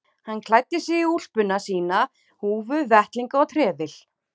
Hann klæddi sig í úlpuna sína, húfu, vettlinga og trefil.